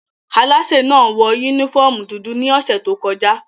Alaśé náa wọ unifọmú dudu ni ọsẹ to kọja.